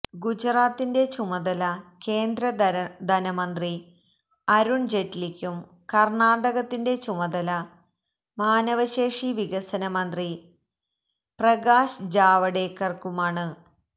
ഗുജറാത്തിന്റെ ചുമതല കേന്ദ്ര ധനമന്ത്രി അരുണ് ജയ്റ്റ്ലിക്കും കര്ണാടകത്തിന്റെ ചുമതല മാനവശേഷി വികസന മന്ത്രി പ്രകാശ് ജാവഡേക്കര്ക്കുമാണ്